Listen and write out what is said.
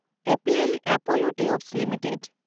APL Apollo tube limited